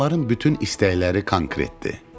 Onların bütün istəkləri konkret idi.